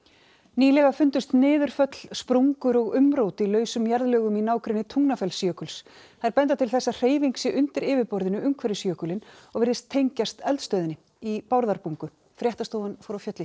nýlega fundust niðurföll sprungur og umrót í lausum jarðlögum í nágrenni Tungnafellsjökuls þær benda til þess að hreyfing sé undir yfirborðinu umhverfis Tungnafellsjökul jökulinn og virðast tengjast eldstöðinni í Bárðarbungu fréttastofan fór á fjöll í